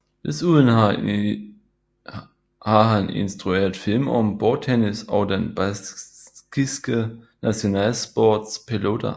Desuden har han instrueret film om bordtennis og den baskiske nationalsport pelota